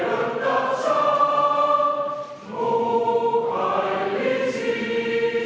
Lauldakse Eesti Vabariigi hümni.